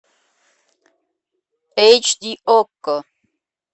эйч ди окко